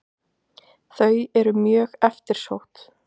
Þau eru mjög eftirsótt.